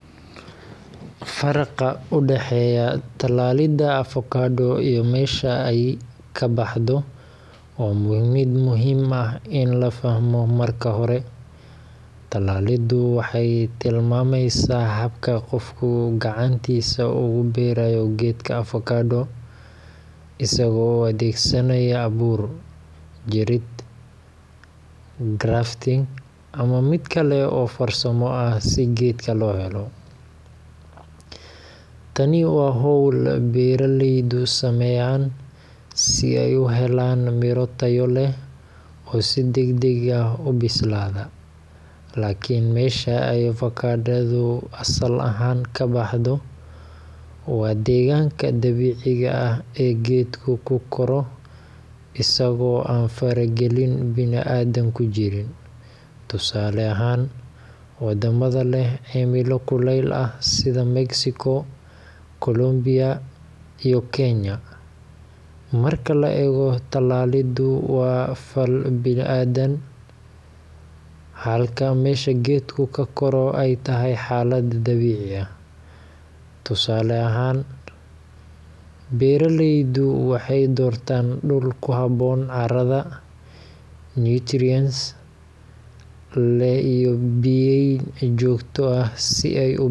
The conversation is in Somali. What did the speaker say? Faraqa u dhexeeya tallaalidda avokado iyo meesha ay ka baxdo waa mid muhiim ah in la fahmo. Marka hore, tallaaliddu waxay tilmaamaysaa habka qofku gacantiisa ugu beerayo geedka avokado, isaga oo adeegsanaya abuur, jirid grafting, ama mid kale oo farsamo ah si geedka loo helo. Tani waa hawl beeraleydu sameeyaan si ay u helaan miro tayo leh oo si degdeg ah u bislaada. Laakiin meesha ay avokadadu asal ahaan ka baxdo waa deegaanka dabiiciga ah ee geedku ku koro isagoo aan faragelin bini’aadan ku jirin, tusaale ahaan wadamada leh cimilo kulayl ah sida Mexico, Colombia, iyo Kenya. Marka la eego, tallaaliddu waa fal bini’aadan, halka meesha geedku ka koro ay tahay xaalad dabiici ah. Tusaale ahaan, beeraleydu waxay doortaan dhul ku habboon, carrada nutrients leh, iyo biyayn joogto ah si ay u.